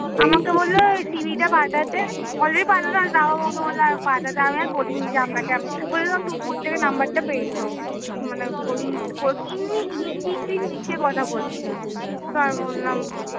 আমাকে বললো CV টা পাঠাতে already পাঠানো তাও আমাকে বললো পাঠাতে আমি আর বলিনি যে আপনাকে আমি বললো তুমি কোথ থেকে number টা পেয়েছো, মানে হিন্দি ইংলিশ মিশিয়ে কথা বলছিলো